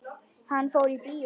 Hann fór í bíó.